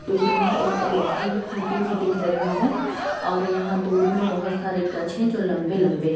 दूर में एक इलेक्ट्रिक की खूंटी भी दिख रही है और यहाँ दूर में बहोत सारे गछ हैं जो लंबे लंबे ह --